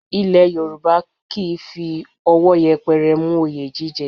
Ilẹ̀ Yorùbá kì í fi owo yẹpẹrẹ mú oyè jíjẹ